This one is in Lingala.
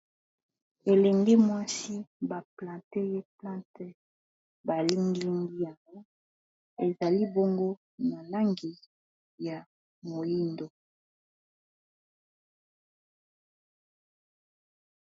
elengi mwasi ba plante ye plante balingiingi yango ezali bongo na langi ya moindo